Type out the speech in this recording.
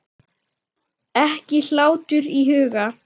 Ekki hlátur í huga.